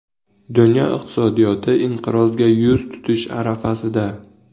Dunyo iqtisodiyoti inqirozga yuz tutish arafasida.